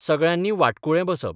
सगळ्यांनी वाटकुळे बसप.